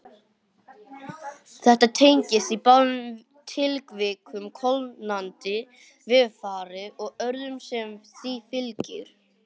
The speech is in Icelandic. Þetta tengist í báðum tilvikum kólnandi veðurfari og öðru sem því fylgir.